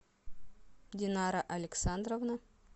динара александровна